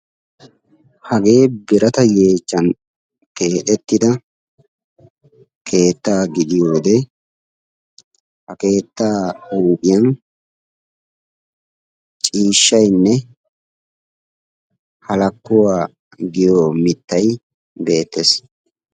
Hagee birata yeechchan keexxettida keettaa gidiyyode ha keetta huuphiyaan ciishshaynne halakkuwa giyo mittay beettees.